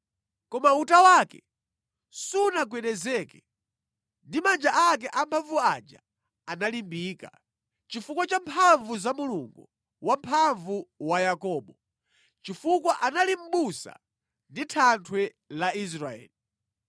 Koma uta wake sunagwedezeke, ndi manja ake amphamvu aja analimbika, chifukwa cha mphamvu za Mulungu Wamphamvu wa Yakobo, chifukwa ali Mʼbusa ndi Thanthwe la Israeli.